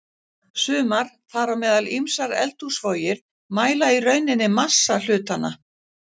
Sumar, þar á meðal ýmsar eldhúsvogir, mæla í rauninni massa hlutanna.